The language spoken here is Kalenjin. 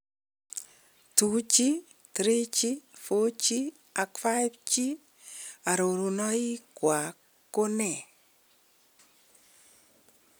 2G, 3G 4G ak 5G arurunoikwak ko nee?